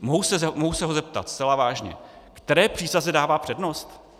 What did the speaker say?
Mohu se ho zeptat zcela vážně, které přísaze dává přednost.